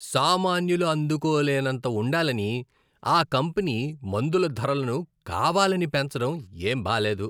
సామాన్యులు అందుకో లేనంత ఉండాలని ఆ కంపెనీ మందుల ధరలను కావాలని పెంచడం ఏం బాలేదు.